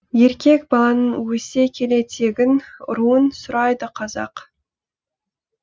еркек баланың өсе келе тегін руын сұрайды қазақ